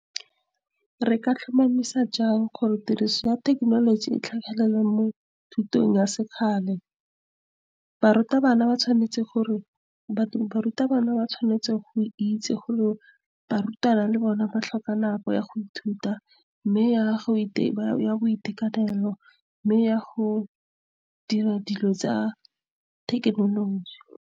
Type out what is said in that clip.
Re ka tlhomamisa jang gore tiriso ya thekenoloji e tlhagelele mo thutong ya sekgale, barutabana ba tshwanetse go itse gore barutwana le bone ba tlhoka nako ya go ithuta, mme ya boitekanelo, mme ya go dira dilo tsa thekenoloji.